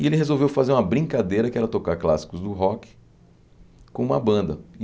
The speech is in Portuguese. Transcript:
E ele resolveu fazer uma brincadeira que era tocar clássicos do rock com uma banda.